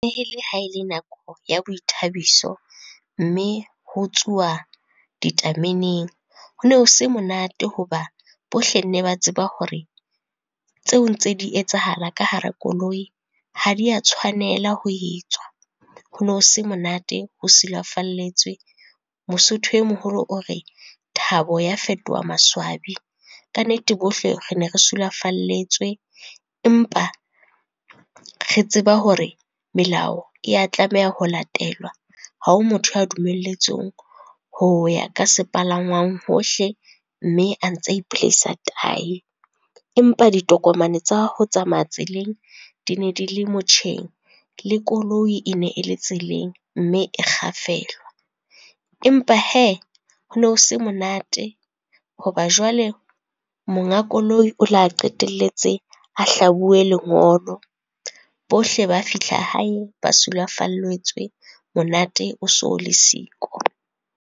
E le ha e le nako ya boithabiso mme ho tsuwa ditameneng. Ho no se monate hoba, bohle nne ba tseba hore tseo ntse di etsahala ka hara koloi, ha di a tshwanela ho etswa, hono se monate ho sulafalletswe. Mosotho e moholo o re, thabo ya fetoha maswabi. Kannete bohle re ne re sulafalletswe, empa re tseba hore melao e ya tlameha ho latelwa ha o motho ya dumelletsweng ho ya ka sepalangwang hohle mme a ntse a ipolaisa tahi. Empa ditokomane tsa ho tsamaya tseleng di ne di le motjheng, le koloi e ne e le tseleng mme e kgafelwa. Empa hee, ho no se monate ho ba jwale monga koloi o la qetelletse a hlabuwe lengolo, bohle ba fihla hae ba sulafalletswe, monate o so o le siko.